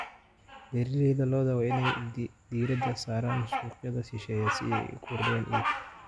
Beeralayda lo'da waa in ay diiradda saaraan suuqyada shisheeye si ay u kordhiyaan iibka.